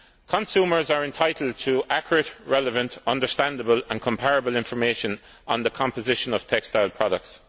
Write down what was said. Consumers are entitled to accurate, relevant, understandable and comparable information on the composition of textile products.